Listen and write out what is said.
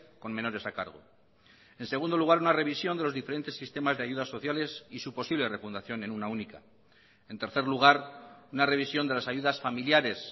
con menores a cargo en segundo lugar una revisión de los diferentes sistemas de ayudas sociales y su posible refundación en una única en tercer lugar una revisión de las ayudas familiares